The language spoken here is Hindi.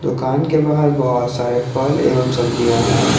दुकान के बाहर बहोत सारे फल एवं सब्जियां है।